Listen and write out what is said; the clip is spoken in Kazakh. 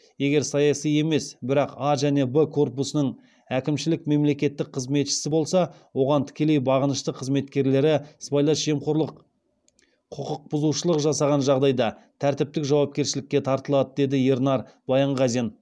егер саяси емес бірақ а және б корпусының әкімшілік мемлекеттік қызметшісі болса оған тікелей бағынышты қызметкерлері сыбайлас жемқорлық құқық бұзушылық жасаған жағдайда тәртіптік жауапкершілікке тартылады деді ернар баянғазин